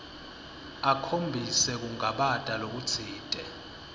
akhombise kungabata lokutsite